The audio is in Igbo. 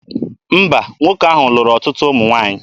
Mba, nwoke ahụ lụrụ ọtụtụ ụmụ nwaanyị.